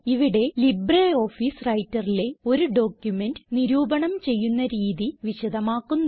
ഇവിടെ ലിബ്രിയോഫീസ് Writerലെ ഒരു ഡോക്യുമെന്റ് നിരൂപണം ചെയ്യുന്ന രീതി വിശദമാക്കുന്നു